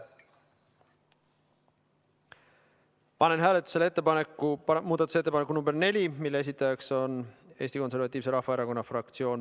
Panen hääletusele muudatusettepaneku nr 4, mille esitaja on Eesti Konservatiivse Rahvaerakonna fraktsioon.